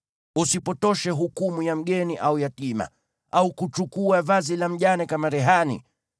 Usipotoshe hukumu ya mgeni au yatima, au kuchukua vazi la mjane kama rehani.